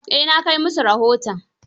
Eh na kai musu rahoton.